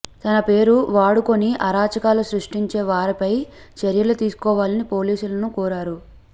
తన పేరు వాడుకుని అరాచకాలు సృష్టించే వారిపై చర్యలు తీసుకోవాలని పోలీసులను కోరారు